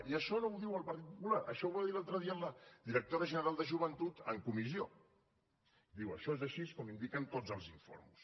i això no ho diu el partit popular això ho va dir l’altre dia la directora general de joventut en comissió diu això és així com indiquen tots els informes